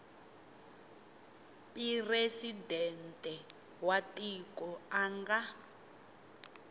presidente wa tiko a nga